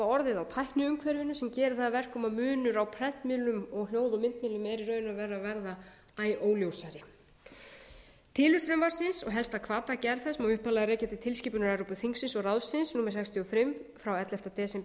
orðið á tækniumhverfinu sem gerir það að verkum að munur á prentmiðlum og hljóð og myndmiðlum er í raun og veru að verða æ óljósari tilurð frumvarpsins og helsta hvata að gerð þess má upphaflega rekja til tilskipunar evrópuþingsins og ráðsins númer sextíu og fimm frá ellefta desember tvö